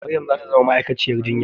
Maryam za ta zama ma'aikaciyar jinya